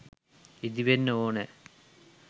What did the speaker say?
ඉදිවෙන්න ඕනෑ.